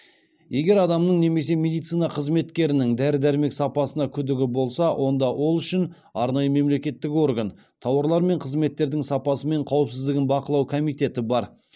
егер адамның немесе медицина қызметкерінің дәрі дәрмек сапасына күдігі болса онда ол үшін арнайы мемлекеттік орган тауарлар мен қызметтердің сапасы мен қауіпсіздігін бақылау комитеті бар